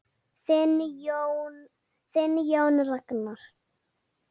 Þinn Jón Ragnar.